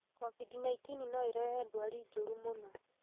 COVID-19 no ĩrehe ndwari njũru mũno